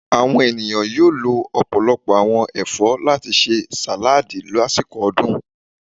Awọn eniyan yóò lò ọpọlọpọ awọn ẹfọ lati ṣe saladi lasiko odun.